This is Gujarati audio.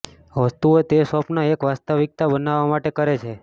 વસ્તુઓ તે સ્વપ્ન એક વાસ્તવિકતા બનાવવા માટે કરે છે